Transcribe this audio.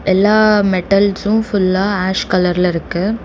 எல்லா மெட்டல்ஸு ஃபுல்லா ஆஷ் கலர்ல இருக்கு.